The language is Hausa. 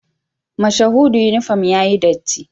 Mashahudu uniform yayi datti